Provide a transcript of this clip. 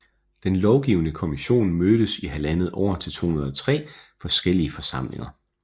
Den lovgivende kommission mødtes i halvandet år til 203 forskellige forsamlinger